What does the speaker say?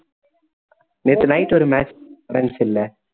நேத்து night ஒரு match நடந்துச்சுல